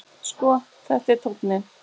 Sko, þetta er tónninn!